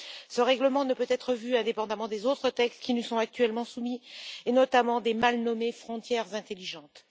Ce règlement ne peut être vu indépendamment des autres textes, qui nous sont actuellement soumis, et notamment des mal nommées frontières intelligentes.